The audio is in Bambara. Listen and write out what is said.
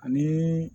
Ani